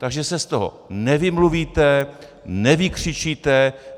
Takže se z toho nevymluvíte, nevykřičíte.